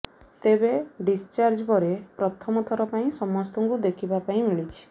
ତେବେ ଡିସଚାର୍ଜ ପରେ ପ୍ରଥମ ଥର ପାଇଁ ସମସ୍ତଙ୍କୁ ଦେଖିବା ପାଇଁ ମିଳିଛି